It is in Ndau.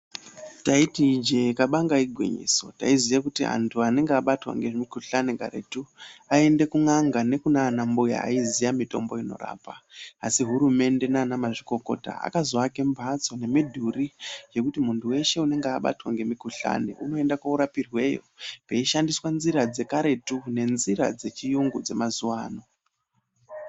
Taiti ijee kabanga igwinyiso taiziye kuti anhu anenge abatwa ngemukhuhlani karetu aiende kun'anga nekunana mbuya aiziya mitombo inorapa asi hurumende nanamazvikokota akazoakae mhatso nemidhuri yekuti munhu weshe unonga abatwe ngemukuhlani unoende korapirweyo eishandise nzira dzekaretu neznira dzechiyungu dzemazuwano.